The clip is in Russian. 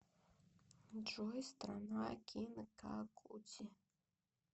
джой страна кинкакудзи